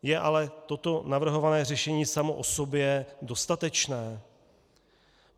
Je ale toto navrhované řešení samo o sobě dostatečné?